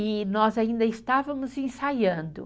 E nós ainda estávamos ensaiando.